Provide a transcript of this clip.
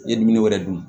I ye dumuni wɛrɛ dun